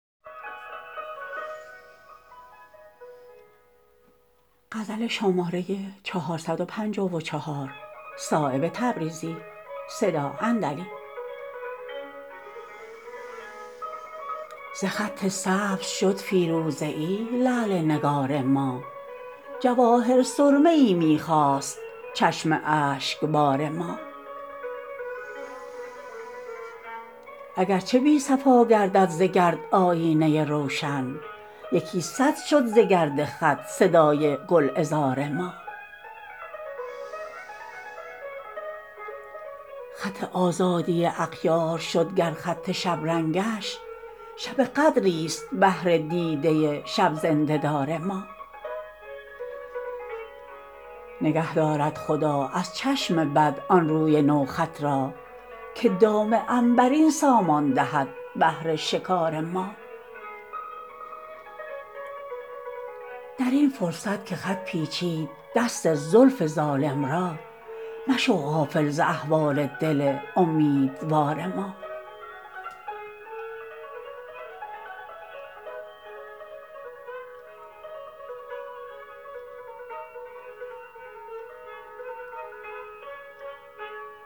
ز خط سبز شد فیروزه ای لعل نگار ما جواهر سرمه ای می خواست چشم اشکبار ما اگر چه بی صفا گردد ز گرد آیینه روشن یکی صد شد ز گرد خط صدای گلعذار ما خط آزادی اغیار شد گر خط شبرنگش شب قدری است بهر دیده شب زنده دار ما نگه دارد خدا از چشم بد آن روی نو خط را که دام عنبرین سامان دهد بهر شکار ما درین فرصت که خط پیچید دست زلف ظالم را مشو غافل ز احوال دل امیدوار ما